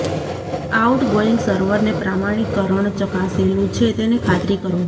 outgoing સર્વરને પ્રમાણીકરણ ચકાસેલું છે તેની ખાતરી કરો